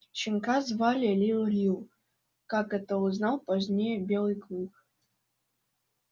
щенка звали лип лип как это узнал позднее белый клык